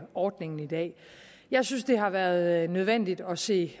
ordningen i dag jeg synes det har været nødvendigt at se